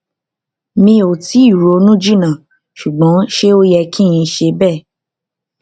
mi o tii ronu jinna sugbon se o ye ki n se bee